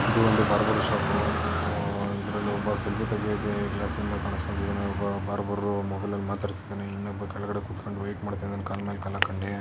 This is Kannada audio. ಇದು ಒಂದು ಬಾರ್ಬರ್ ಶಾಪು ಆ ಇದ್ರಲ್ಲಿ ಒಬ್ಬ ಸೆಲ್ಫೀ ತೆಗೆಯಕೇ ಗ್ಲಾಸ್ ಇಂದ ಕಣ್ಸ್ಕೊತಿದಾನೆ ಒಬ್ಬ ಬಾರ್ಬರು ಮೊಬೈಲಲ್ ಮಾತಾಡ್ತಿದಾನೆ ಇನ್ನೊಬ್ಬ ಕೆಳಗಡೆ ಕೂತ್ಕೊಂಡು ವೇಟ್ ಮಾಡ್ತಿದಾನೆ ಕಾಲ್ ಮೇಲ್ ಕಾಲ್ ಹಾಕೊಂಡೀ.